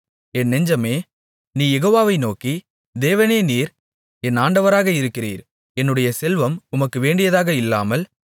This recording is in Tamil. என் நெஞ்சமே நீ யெகோவாவை நோக்கி தேவனே நீர் என் ஆண்டவராக இருக்கிறீர் என்னுடைய செல்வம் உமக்கு வேண்டியதாக இல்லாமல்